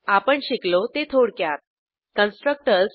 आपण शिकलो ते थोडक्यात कन्स्ट्रक्टर्स